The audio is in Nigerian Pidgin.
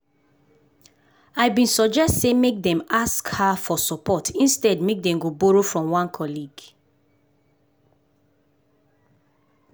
i been suggest say make dem ask hr for support instead make dem go borrow from one colleague.